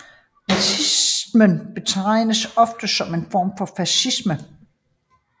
Nazismen betragtes ofte som en form for fascisme